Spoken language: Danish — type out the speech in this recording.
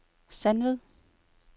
Sandved